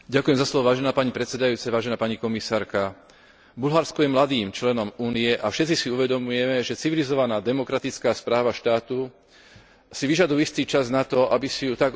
Bulharsko je mladým členom Únie a všetci si uvedomujeme, že civilizovaná demokratická správa štátu si vyžaduje istý čas na to, aby si ju tak obyvateľstvo, ako aj politické špičky osvojili.